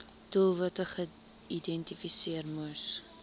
doelwitte geïdentifiseer moes